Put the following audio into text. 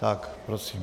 Tak prosím.